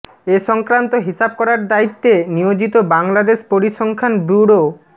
এ সংক্রান্ত হিসাব করার দায়িত্বে নিয়োজিত বাংলাদেশ পরিসংখ্যান ব্যুরো